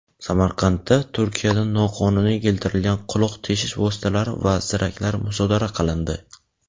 Samarqandda Turkiyadan noqonuniy keltirilgan quloq teshish vositalari va ziraklar musodara qilindi.